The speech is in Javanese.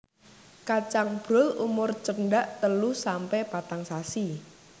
Kacang Brul umur cendhak telu sampe patang sasi